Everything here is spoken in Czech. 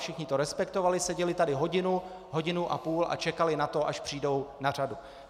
Všichni to respektovali, seděli tady hodinu, hodinu a půl a čekali na to, až přijdou na řadu.